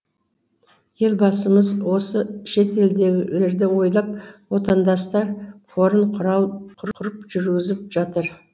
елбасымыз осы шетелдегілерді ойлап отандастар қорын құрып жүргізіп жатыр